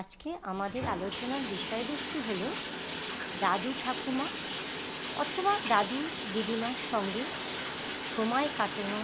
আজকে আমাদের আলোচনার বিষয়বস্তু হল দাদু ঠাকুমা অথবা দাদু দিদিমার সঙ্গে সময় কাটানো